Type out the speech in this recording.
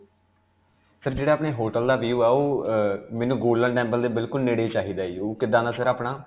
sir, ਜਿਹੜਾ ਆਪਣੇ hotel ਦਾ view ਹੈ ਉਹ ਅਅ ਮੈਨੂੰ Golden temple ਦੇ ਬਿਲਕੁਲ ਨੇੜੇ ਚਾਹਿਦਾ ਹੈ ਜੀ. ਉਹ ਕਿੱਦਾਂ ਦਾ sir ਆਪਣਾ?